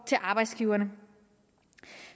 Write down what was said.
til arbejdsgiverne